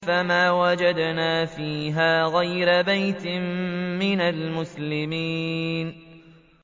فَمَا وَجَدْنَا فِيهَا غَيْرَ بَيْتٍ مِّنَ الْمُسْلِمِينَ